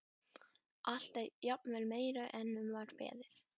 Allt er jafnvel meira en um var beðið.